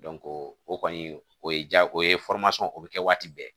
o kɔni o ye ja o ye o bɛ kɛ waati bɛɛ